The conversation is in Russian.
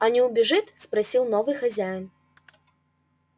а не убежит спросил новый хозяин